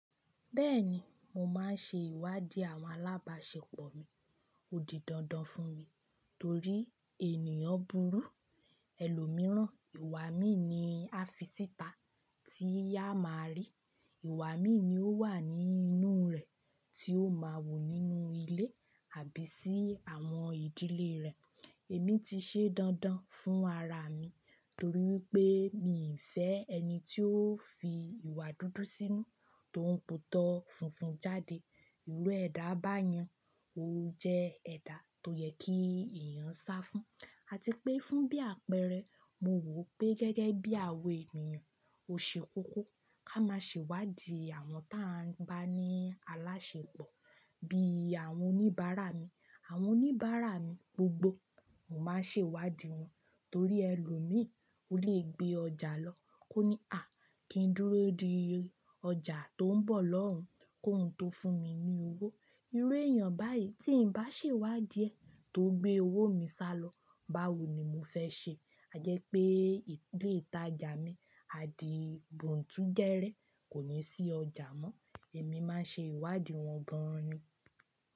Bẹ́ẹ̀ni, mo máa ń ṣe ìwádìí àwọn alábàáṣepọ̀ mi, ó di dandan fún mi torí ènìyàn burú, ẹlòmíràn ìwà mí ni a fi síta tí a máa rí, ìwà mí ni ó wà ní inú rẹ̀ tí ó máa wù nínú ilé àbí sí àwọn ìdílé rẹ̀. Èmi ti ṣe dandan fún ara mi torí wípé mi ò fẹ́ ẹni tí ó fi ìwà dúdú sínú tó ń pòótọ́ funfun jáde. Ìru ẹ̀dá bá yàn, ó jẹ́ ẹ̀dá tó yẹ kí èèyàn sáfún àti pé fún bí àpẹẹrẹ mo wò pé gẹ́gẹ́ bí àwọn ènìyàn ò ṣe kókó ká máa ṣe ìwádìí àwọn tí a bá ní aláṣepọ̀ bí i àwọn oníbàárà mi. Àwọn oníbàárà mi gbogbo mo máa ń ṣe ìwádìí wọn torí ẹlòmíràn o le gbé ọjà lọ kó ní "àá kín dúró di ọjà tó ń bọ̀ lọ́hùn kó hùn tó fún mi ní owó." Irú èèyàn báyìí tí ń bá ṣe ìwádìí ẹ̀ tó gbé owó mi sá lọ báwo ni mo fẹ́ ṣe? A jẹ́ pé ilé ìtajà mi a di bùntúgẹrẹ kò ní sí ọjà mọ́. Èmi máa ń ṣe ìwádìí wọn gan ni.